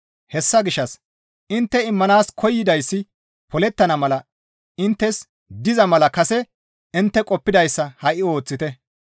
Hessa gishshas intte immanaas koyidayssi polettana mala inttes diza mala kase intte qoppidayssa ha7i ooththite.